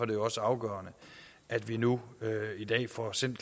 det også afgørende at vi nu i dag får sendt